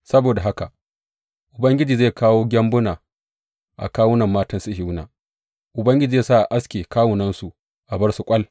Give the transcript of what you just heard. Saboda haka Ubangiji zai kawo gyambuna a kawunan matan Sihiyona; Ubangiji zai sa a aske kawunansu, a bar su ƙwal.